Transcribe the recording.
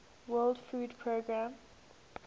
world food programme